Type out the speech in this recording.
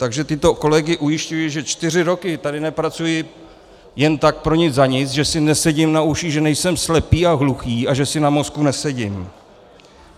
Takže tyto kolegy ujišťuji, že čtyři roky tady nepracuji jen tak pro nic za nic, že si nesedím na uších, že nejsem slepý a hluchý a že si na mozku nesedím.